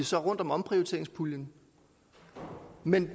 så rundt om omprioriteringspuljen men